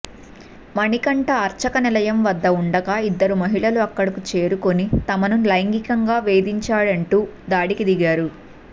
మణికంఠ అర్చక నిలయం వద్ద ఉండగా ఇద్దరు మహిళలు అక్కడకు చేరుకుని తమను లైంగికంగా వేధించాడంటూ దాడికి దిగారు